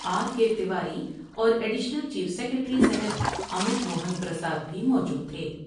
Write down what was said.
Are K Tiwari اور additional chief secretary صحت امت موہن پرساد بھی موجود تھے ۔